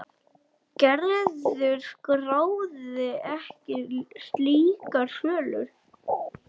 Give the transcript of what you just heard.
Gerður skráði ekki slíkar sölur.